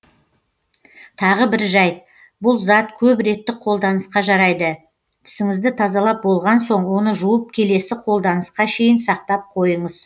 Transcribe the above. тағы бір жәйт бұл зат көп реттік қолданысқа жарайды тісіңізді тазалап болған соң оны жуып келесі қолданысқа шейін сақтап қойыңыз